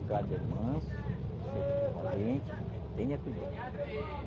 O gado é manso, você é valente, mas tenha cuidado.